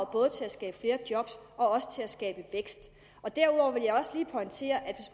både til at skabe flere job og til at skabe vækst derudover vil jeg også lige pointere at